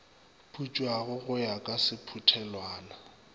putswago go ya ka sephuthelwana